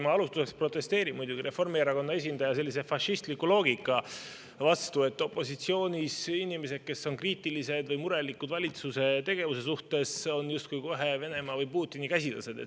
Ma alustuseks protesteerin muidugi Reformierakonna esindaja sellise fašistliku loogika vastu, et opositsioonis olevad inimesed, kes on kriitilised valitsuse tegevuse suhtes või selle pärast murelikud, on justkui kohe Venemaa või Putini käsilased.